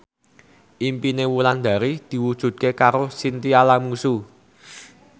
impine Wulandari diwujudke karo Chintya Lamusu